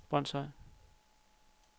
Brønshøj